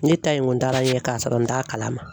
Ne ta in kun taara n ɲɛ k'a sɔrɔ n t'a kalama.